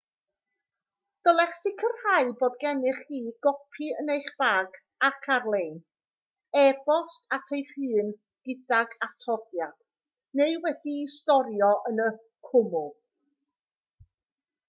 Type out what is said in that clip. dylech sicrhau bod gennych chi gopi yn eich bag ac ar-lein e-bost at eich hun gydag atodiad neu wedi'i storio yn y cwmwl"